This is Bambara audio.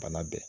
Bana bɛɛ